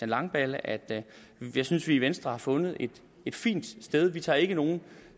langballe at jeg synes vi i venstre har fundet et fint sted vi tager ikke nogen